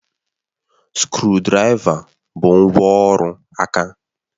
Skrụdiraiva bụ ngwá ọrụ aka